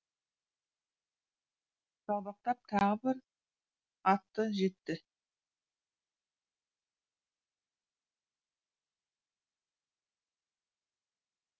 жалбақтап тағы бір атты жетті